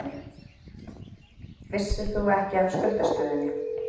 Ónefndur fréttamaður: Vissir þú ekki af skuldastöðunni?